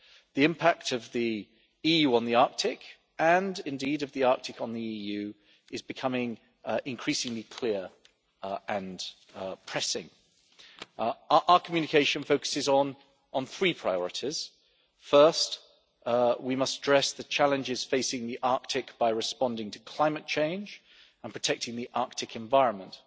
The impact of the EU on the Arctic, and indeed of the Arctic on the EU, is becoming increasingly clear and pressing. Our communication focuses on three priorities. First, we must address the challenges facing the Arctic by responding to climate change and protecting the Arctic environment.